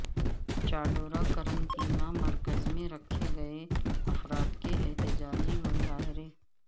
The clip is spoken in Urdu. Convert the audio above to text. چاڈورہ قرنطینہ مرکز میں رکھے گئے افراد کے احتجاجی مظاہرے